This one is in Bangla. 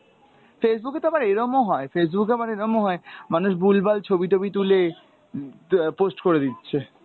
Facebook এ তো আবার এরমও হয়, Facebook এ আবার এরমও হয় মানুষ ভুলভাল ছবি-টবি তুলে আহ post করে দিচ্ছে।